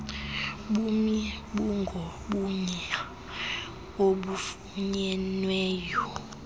bumi bungobunye obufunyenweyo